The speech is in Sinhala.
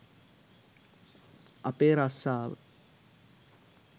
අපේ රස්සාව.